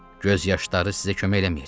Göz yaşları sizə kömək eləməyəcək.